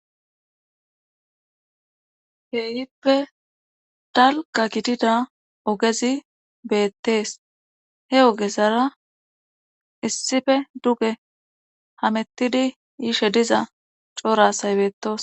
keeyippe dalqa gidida ogezi beettees he ogezara issife duge hamettidi yishe diza coorasay beetos.